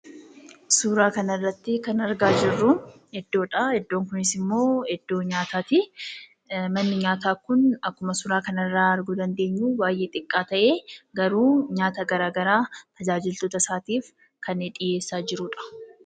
Suuraa kanarratti kan argaa jirru iddoodha. Idoon kunis immoo nyaataati. Manni nyaataa kun akkuma suuraa kanarraa arguu dandeenyu xiqqaa ta'ee garuu nyaata garaagaraa tajaajiltoota isaatiif kan dhiyeessaa jirudha.